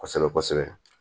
Kosɛbɛ kosɛbɛ